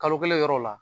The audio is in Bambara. Kalo kelen yɔrɔ la